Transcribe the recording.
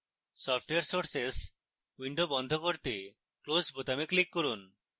software sources window বন্ধ করতে close বোতামে click করুন